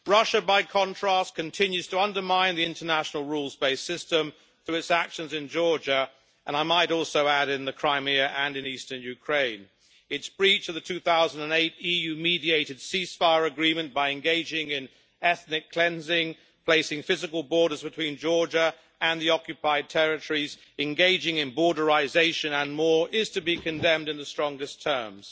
Russia, by contrast, continues to undermine the international rules based system through its actions in Georgia and, I might also add, in Crimea and in eastern Ukraine. Its breach of the 2008 EU mediated ceasefire agreement by engaging in ethnic cleansing, placing physical borders between Georgia and the occupied territories, engaging in borderisation and more, is to be condemned in the strongest terms.